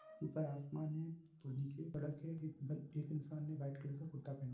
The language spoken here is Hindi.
ऊपर आसमान है तो नीचे सड़क है। एक एक इंसान ने व्हाइट कलर का कुर्ता पहना है।